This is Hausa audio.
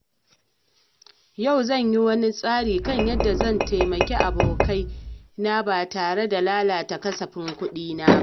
Yau zan yi wani tsari kan yadda zan taimaki abokai na ba tare da lalata kasafin kuɗina ba.